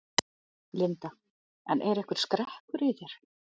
Linda: En er einhver skrekkur í þér?